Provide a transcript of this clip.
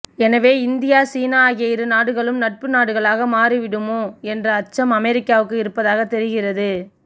எனவே இந்தியா சீனா ஆகிய இரு நாடுகளும் நட்பு நாடுகளாக மாறிவிடுமோ என்ற அச்சம் அமெரிக்காவுக்கு இருப்பதாக தெரிகிறது